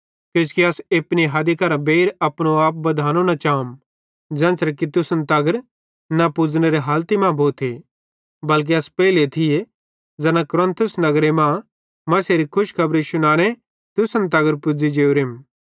किजोकि अस एपनी हदी करां बेइर अपनो आप बधानो न चाम ज़ेन्च़रे कि तुसन तगर न पुज़नेरी हालती मां भोते बल्के अस पेइले थिये ज़ैना कुरिन्थुस नगरे मां मसीहेरी खुशखबरी शुनाते तुसन तगर पुज़ी जोरेम